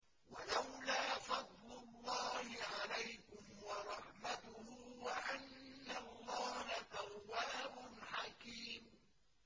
وَلَوْلَا فَضْلُ اللَّهِ عَلَيْكُمْ وَرَحْمَتُهُ وَأَنَّ اللَّهَ تَوَّابٌ حَكِيمٌ